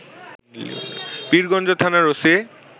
পীরগঞ্জ থানার ওসি